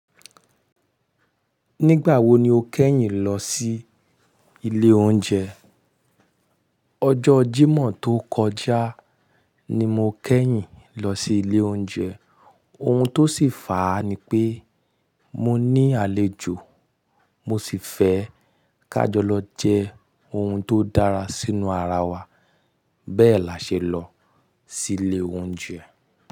Nígbà wo ni o kẹ́yìn lọ sí ilé oúnjẹ? Ọjọ́ Jímọ̀ tó kọjá ni mo kẹ́yìn lọ sí ilé oúnjẹ. Ohun tó sì fàá ni pé mọ ní àlejò mọ sì fẹ́ ká jọ lọ jẹ ohùn tó dára sínú ara wa. Bẹ́ẹ̀ la ṣe lọ sí ilé oúnjẹ.